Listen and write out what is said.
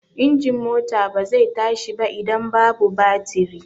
Injin mota ba zai tashi ba idan babu batiri.